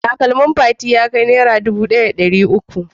Takalmin Fati ya kai Naira dubu ɗaya da ɗari uku?